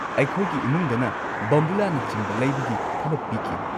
ꯑꯩꯈꯣꯏꯒꯤ ꯏꯃꯨꯡꯗꯅ ꯕꯣꯝꯕꯨꯂꯥꯅꯆꯤꯡꯕ ꯂꯩꯕꯒꯤ ꯊꯕꯛ ꯄꯤꯈꯤ꯫